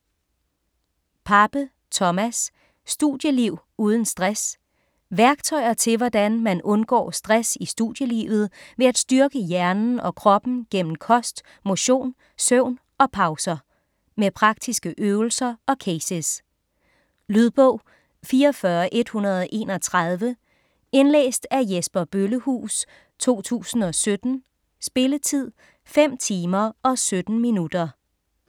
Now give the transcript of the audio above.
Pape, Thomas: Studieliv uden stress Værktøjer til hvordan undgår stress i studielivet ved at styrke hjernen og kroppen gennem kost, motion, søvn og pauser. Med praktiske øvelser og cases. Lydbog 44131 Indlæst af Jesper Bøllehuus, 2017. Spilletid: 5 timer, 17 minutter.